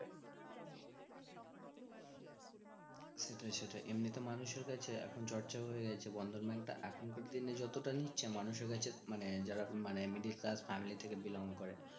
সেটাই সেটাই এমনিতেই মানুষের কাছে এখন চর্চা ও হয়ে গেছে বন্ধন bank তা এখনকার দিনে যতটা নিচ্ছে মানুষের কাছে মানে যারা, মানে middle class family থেকে belong করে